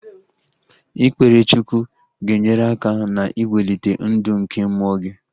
Ikpere Chukwu ga-enyere aka na-iwelite ndụ nke mmụọ gị